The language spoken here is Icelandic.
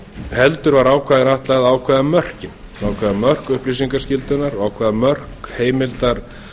heldur var ákvæðinu ætlað að ákveða mörkin ákveða mörk upplýsingaskyldunnar og ákveða mörk heimildar